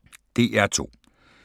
DR2